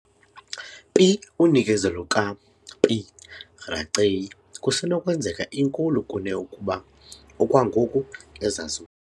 Pi unikezelo ka - "P. raceyi" kusenokwenzeka inkulu kune ukuba okwangoku ezazi.